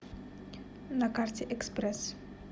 на карте экспресс